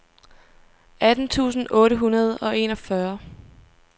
atten tusind otte hundrede og enogfyrre